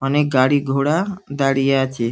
অনেক গাড়ি ঘোড়া দাঁড়িয়ে আছে ।